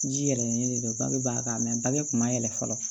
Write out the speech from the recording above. Ji yɛlɛlen de don bangebaa kan mɛ bage kun b'a yɛlɛ fɔlɔ